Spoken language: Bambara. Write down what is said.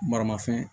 Maramafɛn